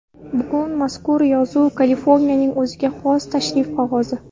Bugun mazkur yozuv Kaliforniyaning o‘ziga xos tashrif qog‘ozi.